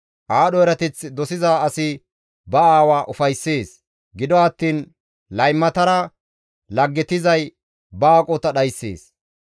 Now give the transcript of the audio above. Aadho erateth dosiza asi ba aawa ufayssees; gido attiin laymatara laggetizay ba aqota dhayssees.